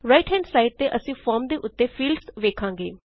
right hand side ਤੇ ਅਸੀਂ form ਦੇ ਉਤੇ ਫੀਲਡਸ ਵੇਖਾਂਗੇ